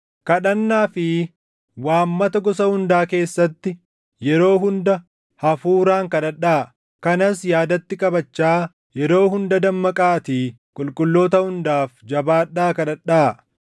Kadhannaa fi waammata gosa hundaa keessatti yeroo hunda Hafuuraan kadhadhaa. Kanas yaadatti qabachaa yeroo hunda dammaqaatii qulqulloota hundaaf jabaadhaa kadhadhaa.